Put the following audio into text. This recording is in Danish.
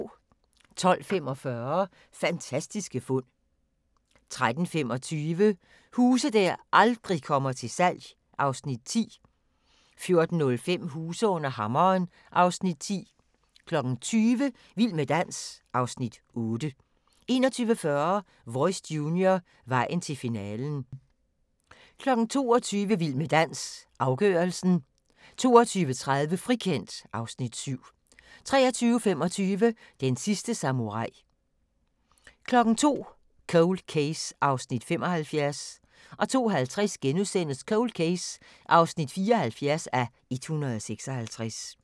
12:45: Fantastiske fund 13:25: Huse der aldrig kommer til salg (Afs. 10) 14:05: Huse under hammeren (Afs. 10) 20:00: Vild med dans (Afs. 8) 21:40: Voice Junior, vejen til finalen 22:00: Vild med dans – afgørelsen 22:30: Frikendt (Afs. 7) 23:25: Den sidste samurai 02:00: Cold Case (75:156) 02:50: Cold Case (74:156)*